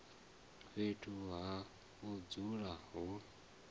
fhethu ha u dzula hu